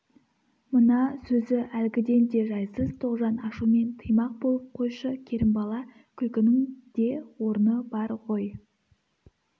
мына сөзі әлгіден де жайсыз тоғжан ашумен тыймақ болып қойшы керімбала күлкінің де орны бар ғой